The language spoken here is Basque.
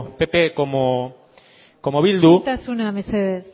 pp como bildu isiltasuna mesedez